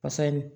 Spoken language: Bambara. Basa in